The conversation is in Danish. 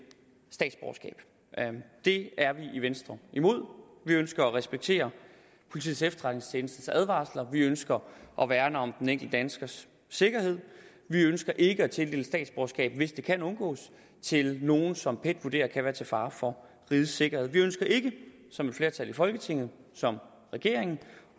statsborgerskab det er vi i venstre imod vi ønsker at respektere politiets efterretningstjenestes advarsler vi ønsker at værne om den enkelte danskers sikkerhed vi ønsker ikke at tildele statsborgerskab hvis det kan undgås til nogle som pet vurderer kan være til fare for rigets sikkerhed vi ønsker ikke som et flertal i folketinget og som regeringen